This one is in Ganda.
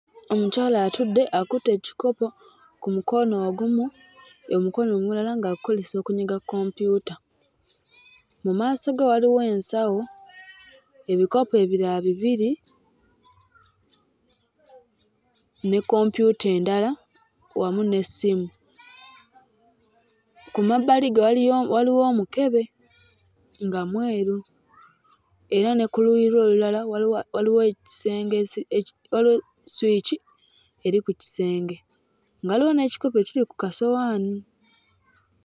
Omukyala atudde akutte ekikopo ku mukono ogumu, omukono omulala ng'agukozesa okunyiga computer, mu maaso ge waliwo ensawo, ebikopo ebirala bibiri ne kompyuta endala wamu n'essimu. Ku mabbali ge waliyo waliwo omukebe nga mweru era ne ku luuyi lwe olulala waliwo waliwo ekisenge eki eki waliwo swiki eri ku kisenge nga waliwo n'ekikopo ekiri ku kasowaani.